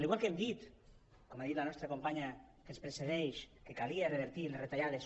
igual que hem dit com ha dit la nostra companya que ens precedeix que calia revertir les retallades